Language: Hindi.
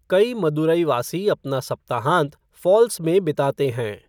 कई मदुरैवासी अपना सप्ताहाँत फ़ॉल्स में बिताते हैं।